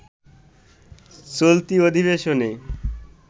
চলতি অধিবেশনে